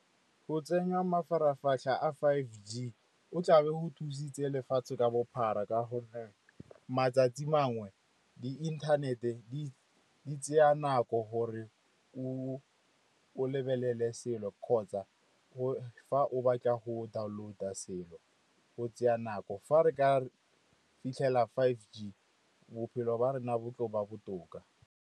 Go tsenya a five G go tla be go thusitse lefatshe ka bophara ka gonne matsatsi mangwe di inthanete di tsaya nako gore o lebelele selo, kgotsa fa o batla go download-a selo go tsaya nako. Fa re ka re fitlhela five G, bophelo ba rona bo tlo ba botoka.